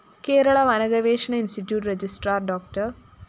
കേരള വന ഗവേഷണ institute registrar ഡോ